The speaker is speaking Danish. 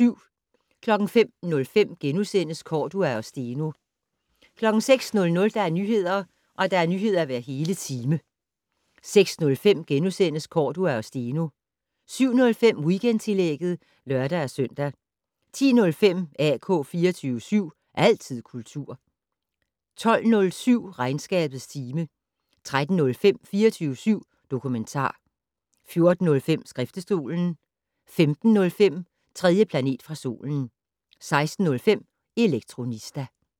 05:05: Cordua og Steno * 06:00: Nyheder hver hele time 06:05: Cordua og Steno * 07:05: Weekendtillægget (lør-søn) 10:05: AK 24syv. Altid kultur 12:07: Regnskabets time 13:05: 24syv dokumentar 14:05: Skriftestolen 15:05: 3. planet fra solen 16:05: Elektronista